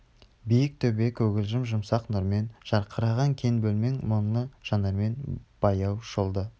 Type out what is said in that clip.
биік төбе көгілжім жұмсақ нұрмен жарқыраған кең бөлмен мұңлы жанармен баяу шолды